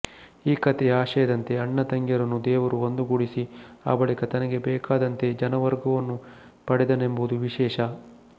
ಈ ಕಥೆಯ ಆಶಯದಂತೆ ಅಣ್ಣತಂಗಿಯರನ್ನು ದೇವರು ಒಂದುಗೂಡಿಸಿ ಆ ಬಳಿಕ ತನಗೆ ಬೇಕಾದಂತೆ ಜನವರ್ಗವನ್ನು ಪಡೆದನೆಂಬುದು ವಿಶೇಷ